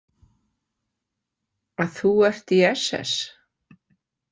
Að þú ert í SS?